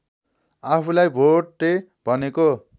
आफूलाई भोटे भनेको